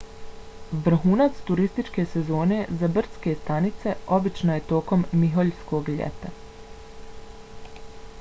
vrhunac turističke sezone za brdske stanice obično je tokom miholjskog ljeta